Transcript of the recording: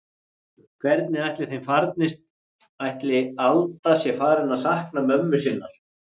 Hvernig ætli þeim farnist, ætli Alda sé farin að sakna mömmu sinnar?